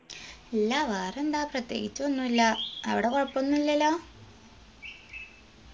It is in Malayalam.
ഇല്ല വേറെന്താ പ്രത്യേകിച്ച് ഒന്നുല്ലാ അവിടെ കൊഴപ്പൊന്നൂല്ലല്ലോ